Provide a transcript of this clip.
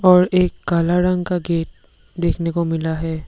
और एक काला रंग का गेट देखने को मिला है।